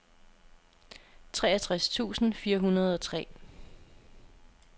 treogtres tusind fire hundrede og tre